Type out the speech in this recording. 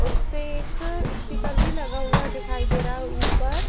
और इसपे एक स्पीकर भी लगा हुआ दिखाई दे रहा है ऊपर